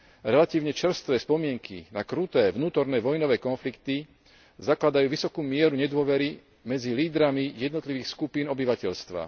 Relatívne čerstvé spomienky na kruté vnútorné vojnové konflikty sú základom pre vysokú mieru nedôvery medzi lídrami jednotlivých skupín obyvateľstva.